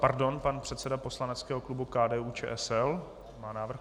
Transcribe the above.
Pardon, pan předseda poslaneckého klubu KDU-ČSL má návrh.